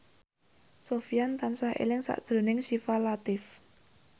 Sofyan tansah eling sakjroning Syifa Latief